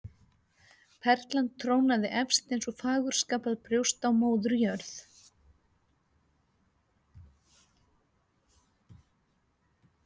Perlan trónaði efst eins og fagurskapað brjóst á Móður jörð.